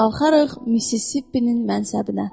Qalxarıq Missisipinin mənsəbinə.